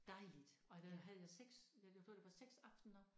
Dejligt og der havde jeg 6 jeg fået det var 6 aftener